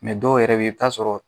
Mɛ dɔw yɛrɛ bɛ yen i bɛ t'a sɔrɔ